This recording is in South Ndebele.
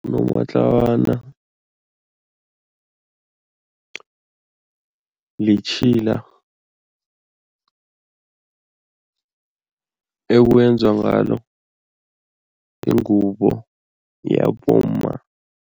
Unomatlawana litjhila ekwenzwa ngalo ingubo yabomma.